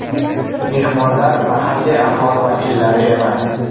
Mehmonlar mahalliy aholi vakillari emas.